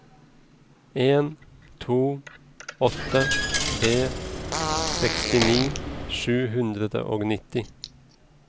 en to åtte tre sekstini sju hundre og nitti